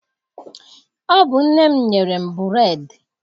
Ọ bụ nne m nyere m bureedị